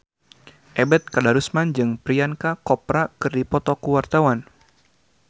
Ebet Kadarusman jeung Priyanka Chopra keur dipoto ku wartawan